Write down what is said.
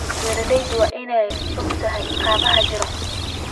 Beeralayda waa in ay ogaadaan caqabadaha jira.